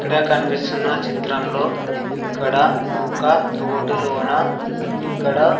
ఇక్కడ కనిపిస్తున్న చిత్రంలో ఇక్కడ ఒక తోటలోన ఇక్కడ.